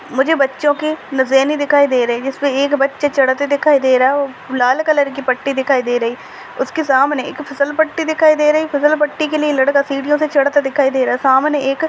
मुझे बच्छों की नुजेनी दिखाई दे रही है जिसपे एक बच्चा छड़ते दिखाई दे रहा है लाल कलर की पट्टी दिखाई दे रही उसके सामने एक फसलपट्टी दिखाई दे रही फसलपट्टी के लिए लड़का सीडियों से चढ़ता दिखाई दे रहा सामने एक --